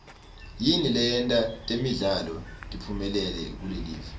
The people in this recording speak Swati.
yini leyenta temidlalo tiphumelele kulelive